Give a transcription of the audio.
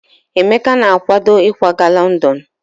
Emeka na-akwado ịkwaga London.